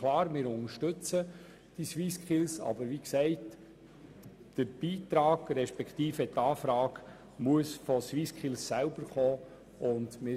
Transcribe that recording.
Wir unterstützen die SwissSkills, aber die Anfrage für einen Beitrag muss von SwissSkills selber kommen, wie ich bereits gesagt habe.